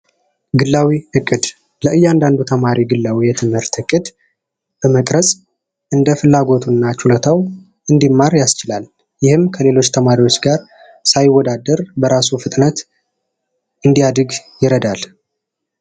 ግላዊ እቅድ ለእያንዳንዱ ተማሪ ግላዊ የትምህርት ዕቅድ በመቅረፅ እንደ ፍላጎቱ እና ችሎታው እንዲማር ያስችላል። ይህም ከሌሎች ተማሪዎች ጋር ሳይወዳደር በራሱ ፍጥነት እንዲያድግ ያደርጋል።